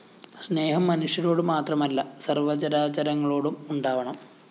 സ്‌നേഹം മനുഷ്യരോട് മാത്രമല്ല സര്‍വചരാചരങ്ങളോടും ഉണ്ടാവണം